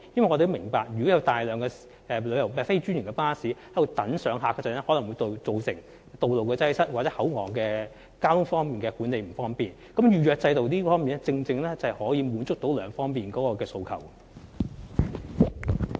我們明白，如果有大量非專營巴士等候上客，可能會造成道路擠塞或口岸交通管理不便，因此預約制度便正正可以滿足這兩方面的需求。